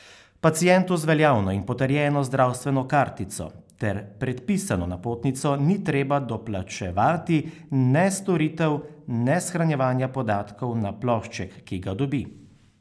Pacientu z veljavno in potrjeno zdravstveno kartico ter predpisano napotnico ni treba doplačevati ne storitev ne shranjevanja podatkov na plošček, ki ga dobi.